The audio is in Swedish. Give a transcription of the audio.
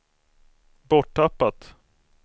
borttappat